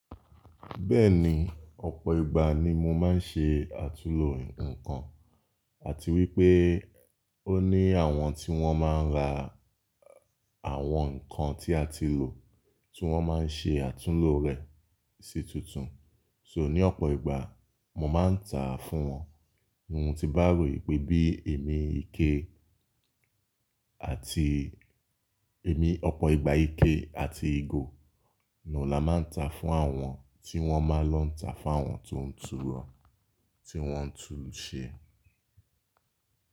Bẹ́ẹ̀ni, ọ̀pọ̀ ìgbà ni mo máa ń ṣe àtúnlo inkankan àti wípé ó ní àwọn tí wón máa ń ra àwọn ǹkan tí a ti lò tí wón máa ń ṣe àtúnlo rẹ̀ sí tuntun. So ní ọ̀pọ̀ ìgbà, mo máa ń ta fún wọn. Ohun tí bá rò wí pé bí èmi ike àti èmi ọ̀pọ̀ ìgbà ike àti ìgò naa la máa ń ta fún àwọn tí wọ́n máa lọ ń ta fún àwọn tó ń tun rọ, tí wọ́n ń tun ṣe.